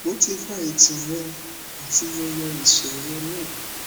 mo ti ka itan rẹ ati mo ye iṣoro naa